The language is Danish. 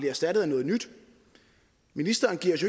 erstattet af noget nyt ministeren giver os